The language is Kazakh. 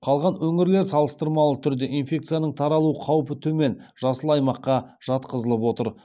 қалған өңірлер салыстырмалы түрде инфекцияның таралу қаупі төмен жасыл аймаққа жатқызылып отыр